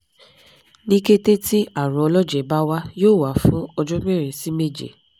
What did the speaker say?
ni kete ti arun ọlọjẹ ba wa yoo wa fun ọjọ merin si meje